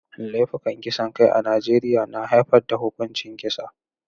Laifukan kisan kai a Najeriya na haifar da huƙuncin kisa.